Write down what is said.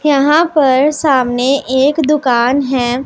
यहां पर सामने एक दुकान है।